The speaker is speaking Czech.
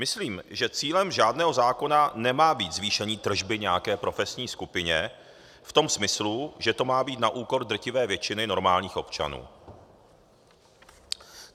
Myslím, že cílem žádného zákona nemá být zvýšení tržby nějaké profesní skupině v tom smyslu, že to má být na úkor drtivé většiny normálních občanů.